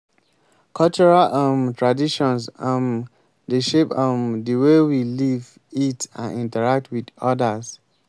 cultural um traditions um dey shape um di way we live eat and interact with odas.